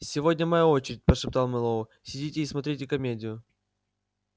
сегодня моя очередь прошептал мэллоу сидите и смотрите комедию